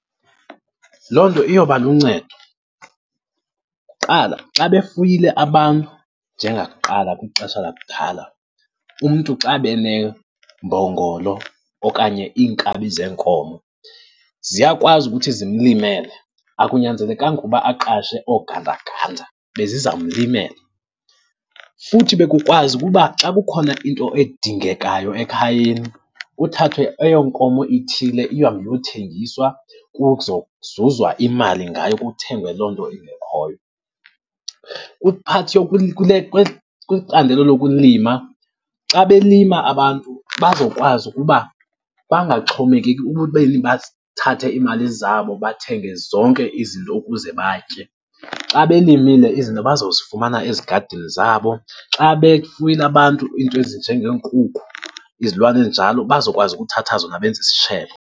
Loo nto iyoba luncedo. Kuqala xa befuyile abantu njengakuqala kwixesha lakudala, umntu xa ebe nembongolo okanye iinkabi zenkomo, ziyakwazi ukuthi zimlimele. Akunyanzelekanga ukuba aqashe oogandaganda, bezizamlimela. Futhi bekukwazi ukuba xa kukhona into edingekayo ekhayeni, kuthathwe eyo nkomo ithile ihambe iyothengiswa kuzozuzwa imali ngayo kuthengwe loo nto ingekhoyo. Kwi-part kwicandelo lokulima, xa belima abantu bazokwazi ukuba bangaxhomekeki ekubeni bathathe iimali zabo bathenge zonke izinto ukuze batye. Xa belimile izinto bazozifumana ezigadini zabo. Xa befuyile abantu into ezinje ngeenkukhu, izilwane ezinjalo bazokwazi ukuthatha zona benze isitshele.